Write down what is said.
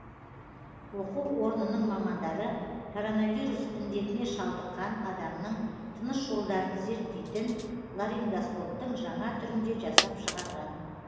оқу орнының мамандары коронавирус індетіне шалдыққан адамның тыныс жолдарын зерттейтін ларингоскоптың жаңа түрін де жасап шығарған